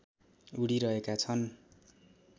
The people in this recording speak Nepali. उडिरहेका छन्